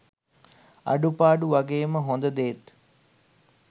අඩුපාඩු වගේම හොඳදේත්